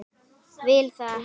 Vil það ekki.